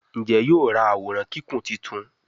Njé yóò rá Àwòrán Kíkún títún?